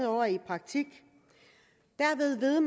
år i praktik derved ved